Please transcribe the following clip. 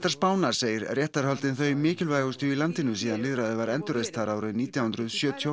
Spánar segir réttarhöldin þau mikilvægustu í landinu síðan lýðræði var endurreist þar árið nítján hundruð sjötíu og